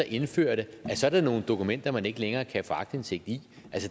indfører det så er der nogle dokumenter man ikke længere kan få aktindsigt i